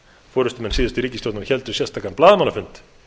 forustumenn síðustu ríkisstjórnar héldu sérstakan blaðamannafund